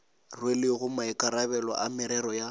rwelego maikarabelo a merero ya